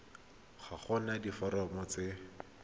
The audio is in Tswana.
ga go na diforomo tse